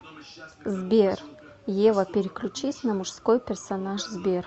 сбер ева переключись на мужской персонаж сбер